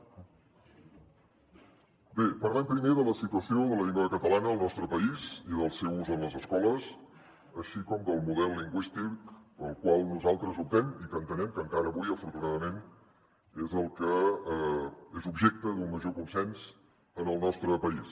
bé parlem primer de la situació de la llengua catalana al nostre país i del seu ús en les escoles així com del model lingüístic pel qual nosaltres optem i que entenem que encara avui afortunadament és el que és objecte d’un major consens en el nostre país